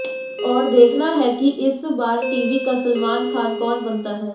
और देखना है कि इस बार टीवी का सलमान खान कौन बनता है